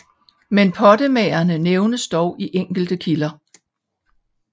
Men pottemagerne nævnes dog i enkelte kilder